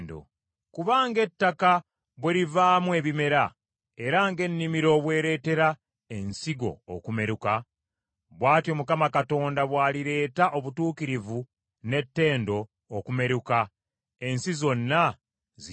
Kuba nga ettaka bwe livaamu ebimera, era ng’ennimiro bwereetera ensigo okumeruka, bw’atyo Mukama Katonda bwalireeta obutuukirivu n’ettendo okumeruka, ensi zonna zikirabe.